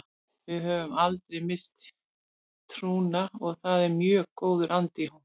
Við höfum aldrei misst trúna og það er mjög góður andi í hópnum.